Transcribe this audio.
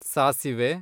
ಸಾಸಿವೆ